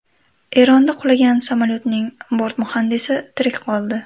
Eronda qulagan samolyotning bort muhandisi tirik qoldi.